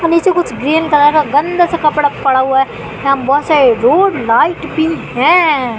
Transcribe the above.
नीचे कुछ green colour का गंदा सा कपड़ा पड़ा हुआ है। यहां बहोत सारे रोड लाइट भी हैं।